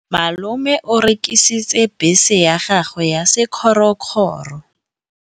Malome o rekisitse bese ya gagwe ya sekgorokgoro.